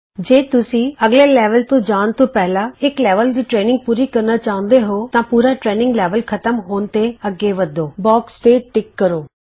ਜੇ ਤੁਸੀਂ ਅੱਗਲੇ ਲੈਵਲ ਤੇ ਜਾਣ ਤੋਂ ਪਹਿਲਾਂ ਇਕ ਲੈਵਲ ਦੀ ਟਰੇਨਿੰਗ ਪੂਰੀ ਕਰਨਾ ਚਾਹੁੰਦੇ ਹੋ ਤਾਂ ਪੂਰਾ ਟਰੇਨਿੰਗ ਲੈਵਲ ਖਤਮ ਹੋਣ ਤੇ ਅੱਗੇ ਵੱਧੋ ਬੌਕਸ ਤੇ ਟਿਕ ਕਰੋ